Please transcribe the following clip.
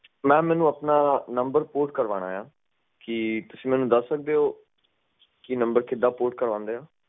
Mam ਮੈਨੂੰ ਆਪਣਾ number Port ਕਰਨਾ ਹੈ ਕੀ ਤੁਸੀਂ ਮੈਨੂੰ ਦੱਸ ਸਕਦੇ ਹੋ ਕਿ ਨੰਬਰ ਕਿੱਦਾਂ port ਕਰਵਾਂਦੇ ਹਾਂ